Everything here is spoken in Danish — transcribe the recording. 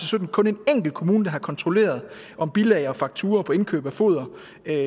sytten kun en enkelt kommune der har kontrolleret om bilag og fakturaer for indkøb af foder